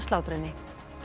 slátra henni